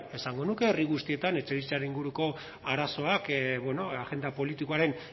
esango nuke herri guztietan etxebizitzaren inguruko arazoak agenda politikoaren